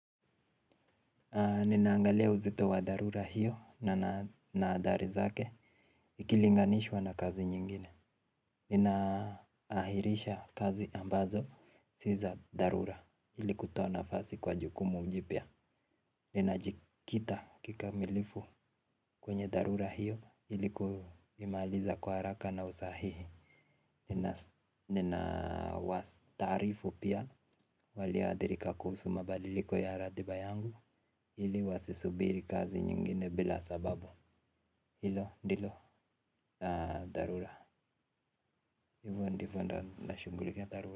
Ninaangalia uzito wa dharura hiyo na athari zake ikilinganishwa na kazi nyingine. Ninaahirisha kazi ambazo si za dharura ili kutoa nafasi kwa jukumu jipya. Ninajikita kikamilifu kwenye dharura iyo ili kuimaliza kwa haraka na usahihi. Ninawastaarifu pia waliadhirika kuhusu mabadiliko ya ratiba yangu. Hili wasisubiri kazi nyingine bila sababu hilo ndilo dharura hivo ndivo ndo nashughulikia dharura.